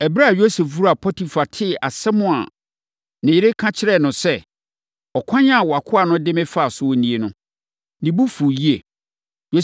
Ɛberɛ a Yosef wura Potifar tee asɛm a ne yere ka kyerɛɛ no sɛ, “Ɔkwan a wʼakoa no de me faa so nie” no, ne bo fuu yie.